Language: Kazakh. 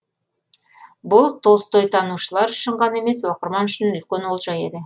бұл толстойтанушылар үшін ғана емес оқырман үшін үлкен олжа еді